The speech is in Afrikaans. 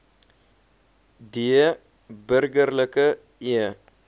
d burgerlike e